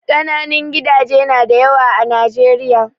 Kananun gidaje nada yawa a Najeriya